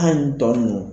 An tɔ nunnu